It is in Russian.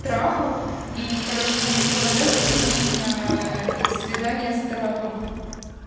трапу и короче мне предлагают сходить на свидание с трапом